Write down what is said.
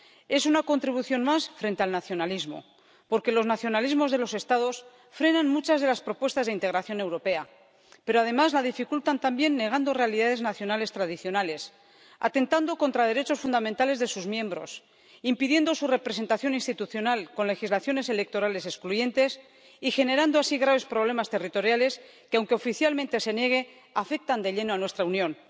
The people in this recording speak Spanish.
Es una contribución más frente al nacionalismo, porque los nacionalismos de los Estados frenan muchas de las propuestas de integración europea pero, además, la dificultan también negando realidades nacionales tradicionales, atentando contra derechos fundamentales de sus miembros, impidiendo su representación institucional con legislaciones electorales excluyentes y generando así graves problemas territoriales que, aunque oficialmente se nieguen, afectan de lleno a nuestra Unión.